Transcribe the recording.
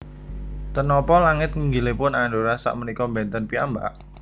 Ten nopo langit nginggilipun Andorra sak menika benten piyambak?